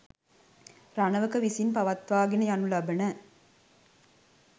රණවක විසින් පවත්වාගෙන යනු ලබන